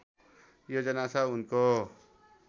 योजना छ उनको